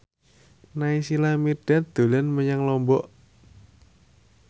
Naysila Mirdad dolan menyang Lombok